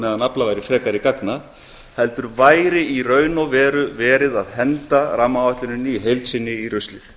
meðan aflað væri frekari gagna heldur væri í raun og veru verið að henda rammaáætluninni í heild sinni í ruslið